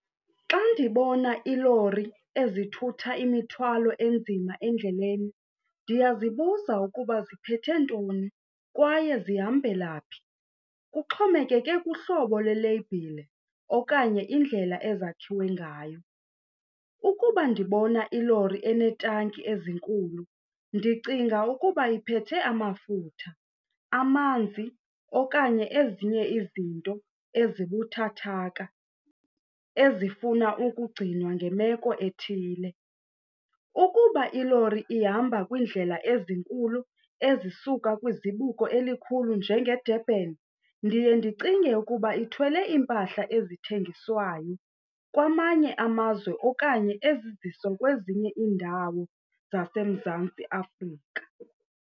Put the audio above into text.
Xa ndibona iilori ezithutha imithwalo enzima endleleni ndiyazibuza ukuba ziphethe ntoni kwaye zihambela phi. Kuxhomekeke kuhlobo leleyibhile okanye indlela ezakhiwe ngayo. Ukuba ndibona ilori eneetanki ezinkulu ndicinga ukuba iphethe amafutha, amanzi okanye ezinye izinto ezibuthathaka ezifuna ukugcinwa ngemeko ethile. Ukuba ilori ihamba kwindlela ezinkulu ezisuka kwizibuko elikhulu njengeDurban ndiye ndicinge ukuba ithwele iimpahla ezithengiswayo kwamanye amazwe okanye eziziswa kwezinye iindawo zaseMzantsi Afrika.